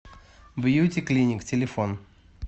бьюти клиник телефон